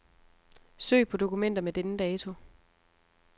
Søg på dokumenter med denne dato.